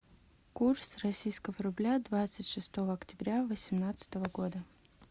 курс российского рубля двадцать шестого октября восемнадцатого года